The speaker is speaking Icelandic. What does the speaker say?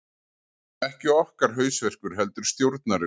Ekki okkar hausverkur heldur stjórnarinnar